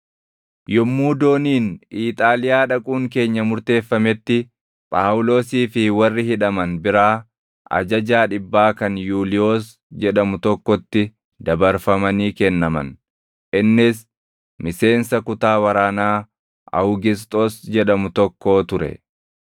Yommuu dooniin Iixaaliyaa dhaquun keenya murteeffametti, Phaawulosii fi warri hidhaman biraa ajajaa dhibbaa kan Yuuliyoos jedhamu tokkotti dabarfamanii kennaman; innis miseensa kutaa waraanaa “Awugisxoos” jedhamu tokkoo ture.